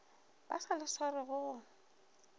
ba sa le swarego go